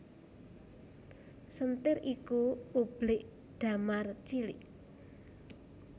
Senthir iku ublik damar cilik